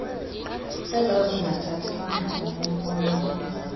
ezazingathathelwa ngqalelo ifumana